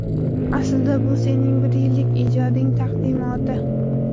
Aslida, bu sening bir yillik ijoding taqdimoti.